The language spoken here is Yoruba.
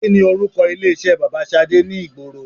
Kini orúkọ ilé iṣẹ́ bàbà Ṣadé ni ìgboro